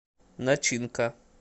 начинка